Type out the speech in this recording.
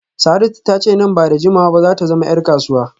Saratu ta ce nan ba da jimawa ba za ta zama ‘yar kasuwa